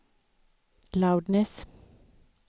loudness